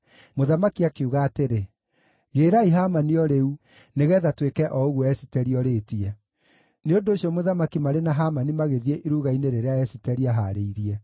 Mũthamaki akiuga atĩrĩ, “Gĩĩrai Hamani o rĩu, nĩgeetha twĩke o ũguo Esiteri orĩtie.” Nĩ ũndũ ũcio mũthamaki marĩ na Hamani magĩthiĩ iruga-inĩ rĩrĩa Esiteri aahaarĩirie.